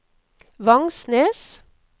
Vangsnes